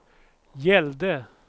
gällde